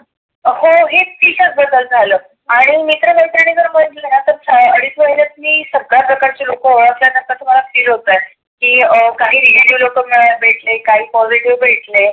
हो हे टीचर बद्दल झालं. आणि मित्र मैत्रीनी बरोबर आता अडीच महिण्यात मी सगळ्या प्रकारची लोक ओळख तस मला feel होतय. की काही भेटले, काही कॉलेज वर भेटले.